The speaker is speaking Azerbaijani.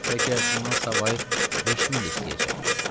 Bəlkə bundan savayı 5000 də istəyəcək.